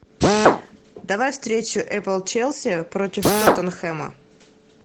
давай встречу апл челси против тоттенхэма